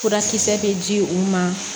Furakisɛ bɛ di u ma